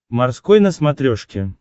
морской на смотрешке